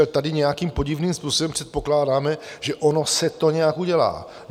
Ale tady nějakým podivným způsobem předpokládáme, že ono se to nějak udělá.